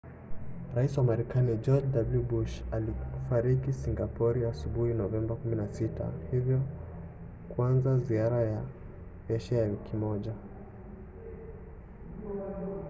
rais wa marekani george w. bush alifika singapori asubuhi ya novemba 16 hivyo kuanza ziara ya asia ya wiki moja